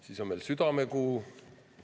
See on ka südamekuu.